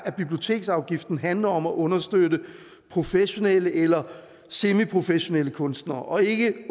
biblioteksafgiften handler om at understøtte professionelle eller semiprofessionelle kunstnere og ikke i